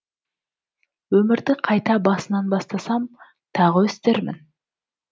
өмірді қайта басынан бастасам тағы өстермін